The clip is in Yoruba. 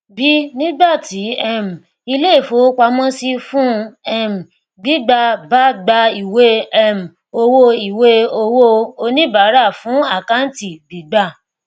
b nígbàtí um ilé ìfowópamọsí fún um gbígbà bá gba ìwé um owó ìwé owóo oníbàárà fún àkáǹtì gbígbà